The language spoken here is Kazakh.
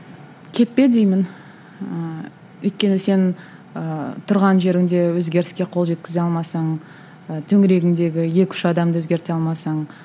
кетпе деймін ыыы өйткені сен ыыы тұрған жеріңде өзгеріске қол жеткізе алмасаң ы төңірегіңдегі екі үш адамды өзгерте алмасаң